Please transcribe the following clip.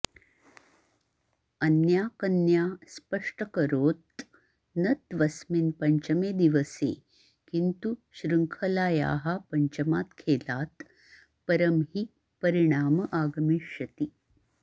अन्या कन्या स्पष्ट्यकरोत् न त्वस्मिन् पञ्चमे दिवसे किन्तु शृङ्खलायाः पञ्चमात् खेलात् परं हि परिणाम आगमिष्यति